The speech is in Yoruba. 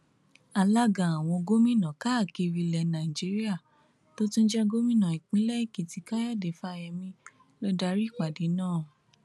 alága àwọn gómìnà káàkiri ilẹ nàíjíríà tó tún jẹ gómìnà ìpínlẹ èkìtì káyọdé fáyemí ló darí ìpàdé náà